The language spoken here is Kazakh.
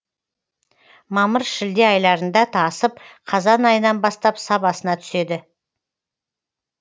мамыр шілде айларында тасып қазан айынан бастап сабасына түседі